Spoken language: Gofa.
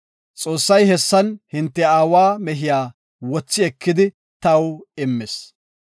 Xoossay hessan hinte aawa mehiya wothi ekidi taw immis.